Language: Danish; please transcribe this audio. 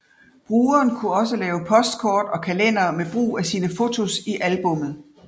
Brugeren kunne også lave postkort og kalendere med brug af sine fotos i albummet